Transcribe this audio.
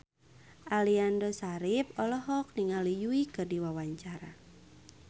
Aliando Syarif olohok ningali Yui keur diwawancara